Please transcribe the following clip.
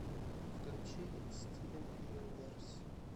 включи стивен юниверс